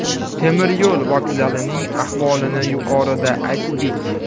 Temiryo‘l vokzalining ahvolini yuqorida aytdik.